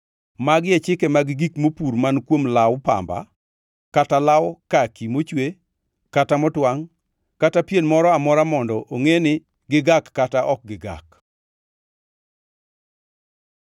Magi e chike mag gik mopur man kuom law pamba kata law kaki mochwe kata motwangʼ kata pien moro amora mondo ongʼe ni gigak kata ok gigak.